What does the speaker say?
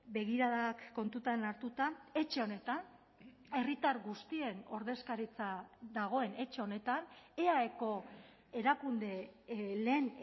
begiradak kontutan hartuta etxe honetan herritar guztien ordezkaritza dagoen etxe honetan eaeko erakunde lehen